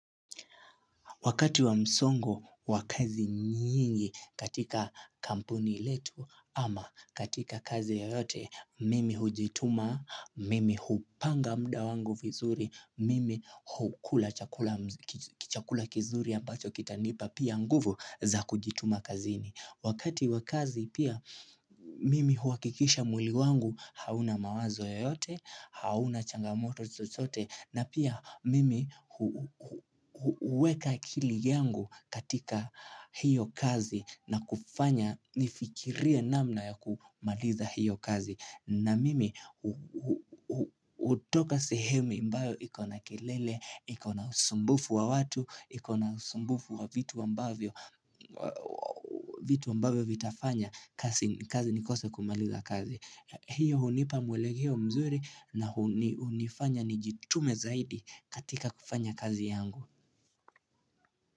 Wakati wa msongo, wa kazi nyingi katika kampuni letu ama katika kazi yoyote, mimi hujituma, mimi hupanga mda wangu vizuri, mimi hukula chakula kichakula kizuri ambacho kitanpa pia nguvu za kujituma kazini. Wakati wakazi pia mimi huakikisha mwli wangu hauna mawazo yoyote, hauna changamoto chochote na pia mimi uweka akili yangu katika hiyo kazi na kufanya nifikirie namna ya kumaliza hiyo kazi. Na mimi utoka sehemi ambao ikona kelele, ikona usumbufu wa watu, iko na usumbufu wa vitu ambavyo vitafanya kazi nikose kumaliza kazi. Hiyo unipa mwelekeo mzuri na unifanya nijitume zaidi katika kufanya kazi yangu.